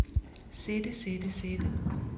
sætte sætte sætte